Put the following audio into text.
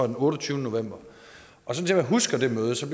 den otteogtyvende november og som jeg husker det møde så